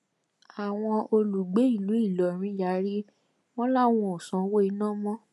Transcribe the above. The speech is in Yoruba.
àwọn olùgbé ìlú ìlọrin yarí wọn làwọn ò sanwó iná mọ